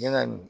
Yala